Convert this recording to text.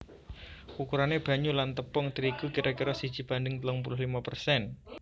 Ukurane banyu lan tepung terigu kira kira siji banding telung puluh limo persen